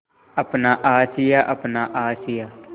अपना आशियाँ अपना आशियाँ